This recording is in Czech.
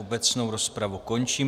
Obecnou rozpravu končím.